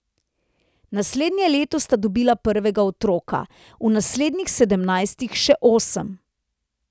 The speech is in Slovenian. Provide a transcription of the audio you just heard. Naslednje leto sta dobila prvega otroka, v naslednjih sedemnajstih še osem.